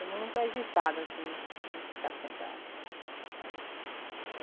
É muito agitado, assim, a gente ficar sentado.